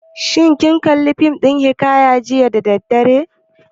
Shin kin kalli fim ɗin labarin hiƙaya jiya da daddare?